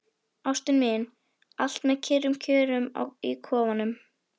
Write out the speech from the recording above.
Ástin mín, allt með kyrrum kjörum í kofanum.